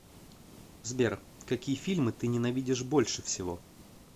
сбер какие фильмы ты ненавидишь больше всего